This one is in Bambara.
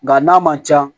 Nga n'a man ca